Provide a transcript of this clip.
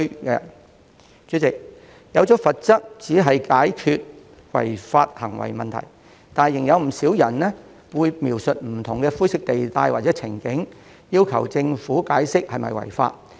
代理主席，訂下罰則只能解決違法行為的問題，但仍有不少人會描述不同的灰色地帶或情景，要求政府解釋是否違法。